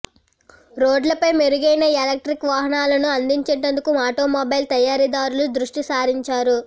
రోడ్లపై మెరుగైన ఎలక్ట్రిక్ వాహనాలను అందించేందుకు ఆటోమొబైల్ తయారీదారులు దృష్టి సారించారు